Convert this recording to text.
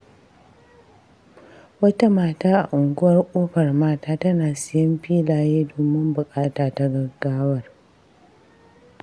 Wata mata a Unguwar Kofar Mata tana sayen filaye domin buƙata ta gaggawar.